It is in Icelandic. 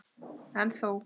En þó.